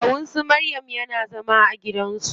Kawun su maryam yana zama a gidan su.